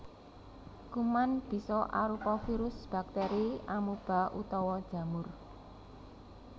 Kuman bisa arupa virus bakteri amuba utawa jamur